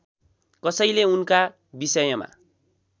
कसैले उनका विषयमा